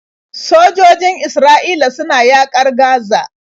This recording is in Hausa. Sojojin Isra'ila suna yaƙar Gaza.